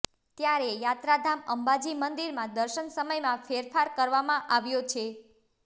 ત્યારે યાત્રાધામ અંબાજી મંદિરમાં દર્શન સમયમાં ફેરફાર કરવામાં આવ્યો છે